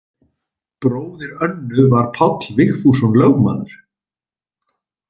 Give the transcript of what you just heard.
Bróðir Önnu var Páll Vigfússon lögmaður.